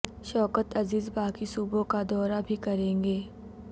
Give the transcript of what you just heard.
شوکت عزیز باقی صوبوں کا دورہ بھی کریں گے